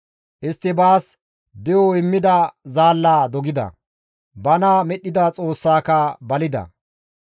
Istti baas de7o immida zaallaa dogida; bana medhdhida Xoossaaka balida.